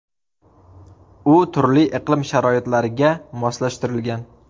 U turli iqlim sharoitlariga moslashtirilgan.